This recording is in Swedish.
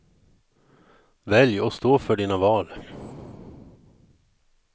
Välj och stå för dina val.